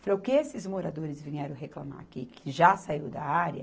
Falei, o que esses moradores vieram reclamar aqui, que já saiu da área?